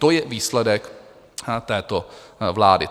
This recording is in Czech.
To je výsledek této vlády.